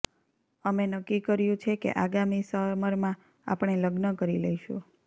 અમે નક્કી કર્યું છે કે આગામી સમરમાં આપણે લગ્ન કરી લઈશું